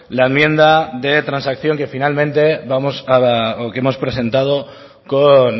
la enmienda de transacción que finalmente vamos a o que hemos presentado con